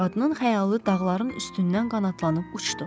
Qadının xəyalı dağların üstündən qanadlanıb uçdu.